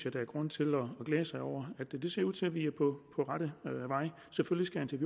at der er grund til at glæde sig over det det ser ud til at vi er på rette vej selvfølgelig